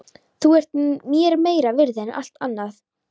Þú ert mér meira virði en allt annað.